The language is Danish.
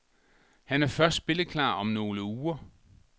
Han er først spilleklar om nogle uger.